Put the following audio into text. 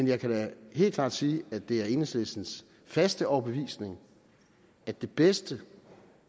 jeg kan da helt klart sige at det er enhedslistens faste overbevisning at det bedste